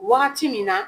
Wagati min na